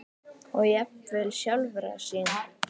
og jafnvel sjálfra sín.